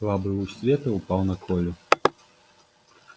слабый луч света упал на колю